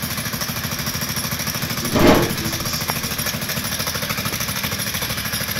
какие бывают бизнес идеи